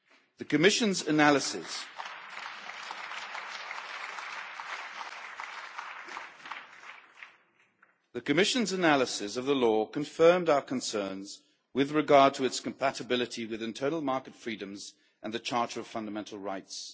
The Commission's analysis of the law confirmed our concerns with regard to its compatibility with internal market freedoms and the EU Charter of Fundamental Rights.